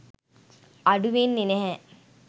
අඩු වෙන්නෙ නැහැ